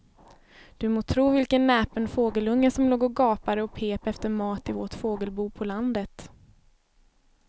Du må tro vilken näpen fågelunge som låg och gapade och pep efter mat i vårt fågelbo på landet.